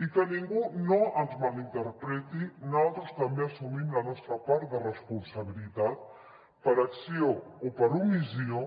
i que ningú no ens mal interpreti nosaltres també assumim la nostra part de responsabilitat per acció o per omissió